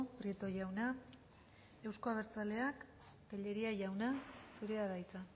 prieto jauna euzko abertzaleak tellería jauna zurea da hitza